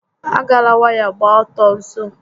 A gala waya gba ọtọ nso